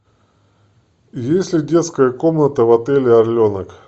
есть ли детская комната в отеле орленок